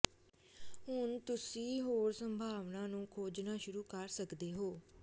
ਹੁਣ ਤੁਸੀਂ ਹੋਰ ਸੰਭਾਵਨਾਵਾਂ ਨੂੰ ਖੋਜਣਾ ਸ਼ੁਰੂ ਕਰ ਸਕਦੇ ਹੋ